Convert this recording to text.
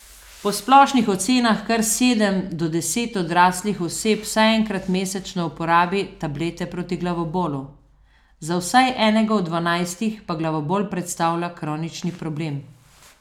Po splošnih ocenah kar sedem do deset odraslih oseb vsaj enkrat mesečno uporabi tablete proti glavobolu, za vsaj enega od dvanajstih pa glavobol predstavlja kronični problem.